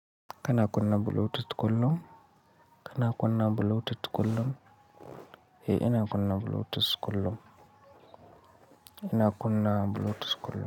Kana kunna bluetooth kullum? Kana kuna bluetooth kullum? Eh ina kunna bluetooth kullum. Ina kuna bluetooth kullum.